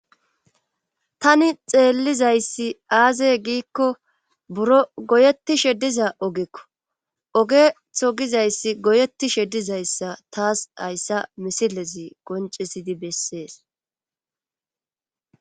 Tani xeellizayssi aazey giikko buro goyeti shediza ogekko ogetho gizayssi goyetti shedizayssa taas hayssa misilezi goncisidi bessees.